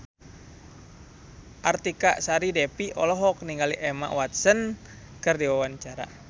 Artika Sari Devi olohok ningali Emma Watson keur diwawancara